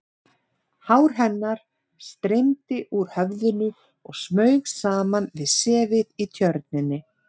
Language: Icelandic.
Hár hennar streymdi úr höfðinu og smaug saman við sefið í Tjörninni.